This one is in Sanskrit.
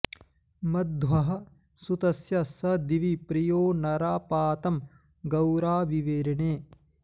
मध्वः॑ सु॒तस्य॒ स दि॒वि प्रि॒यो न॑रा पा॒तं गौ॒रावि॒वेरि॑णे